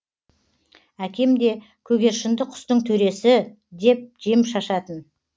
әкем де көгершінді құстың төресі деп жем шашатын